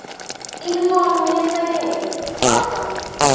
imibono yesekelwe kodvwa